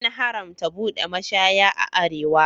An haramta buɗe mashaya a arewa.